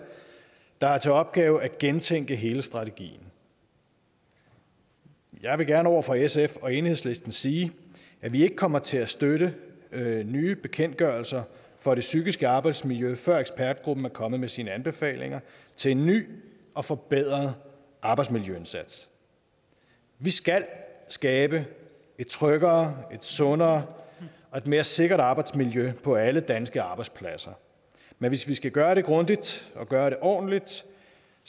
der har til opgave at gentænke hele strategien jeg vil gerne over for sf og enhedslisten sige at vi ikke kommer til at støtte nye bekendtgørelser for det psykiske arbejdsmiljø før ekspertgruppen er kommet med sine anbefalinger til en ny og forbedret arbejdsmiljøindsats vi skal skabe et tryggere et sundere og et mere sikkert arbejdsmiljø på alle danske arbejdspladser men hvis vi skal gøre det grundigt og gøre det ordentligt